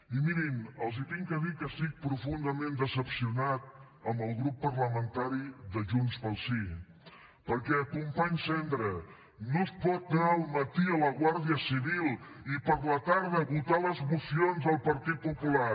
i mirin els he de dir que estic profundament decebut amb el grup parlamentari de junts pel sí perquè company sendra no es pot anar al matí a la guàrdia civil i a la tarda votar les mocions del partit popular